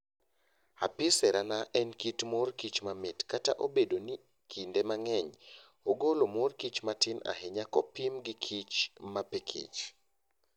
Apis cerana en kit mor kich mamit kata obedo ni kinde mang'eny ogolo mor kich matin ahinya kopim gi kichmapikich.